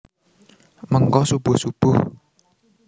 Mengko subuh subuh